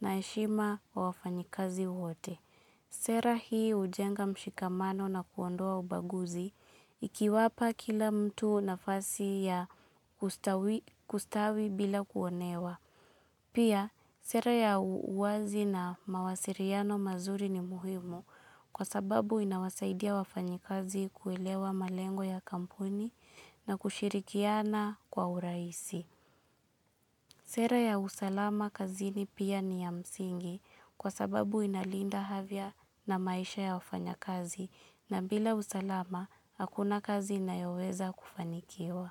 na heshima wa wafanikazi wote. Sera hii hujenga mshikamano na kuondoa ubaguzi ikiwapa kila mtu nafasi ya kustawi bila kuonewa. Pia, sera ya uwazi na mawasiliano mazuri ni muhimu kwa sababu inawasaidia wafanyikazi kuelewa malengo ya kampuni na kushirikiana kwa urahisi. Sera ya usalama kazini pia ni ya msingi kwa sababu inalinda afya na maisha ya wafanyakazi na bila usalama, hakuna kazi inayoweza kufanikiwa.